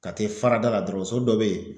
Kate farada la dɔrɔn son dɔ be ye